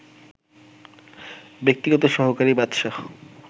ব্যক্তিগত সহকারী বাদশা